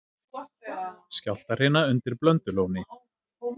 Skjálftahrina undir Blöndulóni